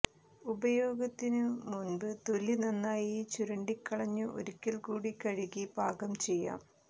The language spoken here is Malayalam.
ഉപയോഗത്തിന് മുമ്പ് തൊലി നന്നായി ചുരണ്ടിക്കളഞ്ഞ് ഒരിക്കല് കൂടി കഴുകി പാകം ചെയ്യാം